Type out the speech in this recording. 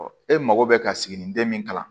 e mago bɛ ka sigininden min kalan